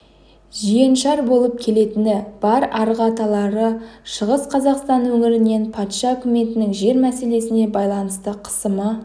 жиеншар болып келетіні бар арғы аталары шығыс қазақстан өңірінен патша үкіметінің жер мәселесіне байланысты қысымы